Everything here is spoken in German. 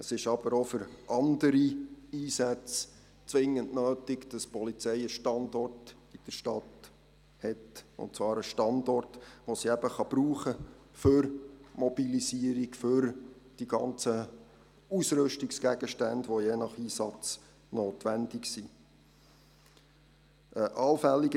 Es ist aber auch für andere Einsätze zwingend nötig, dass die Polizei einen Standort in der Stadt hat, und zwar einen Standort, den sie für die Mobilisierung und all die Ausrüstungsgegenstände, die je nach Einsatz notwendig sind, brauchen kann.